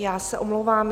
Já se omlouvám.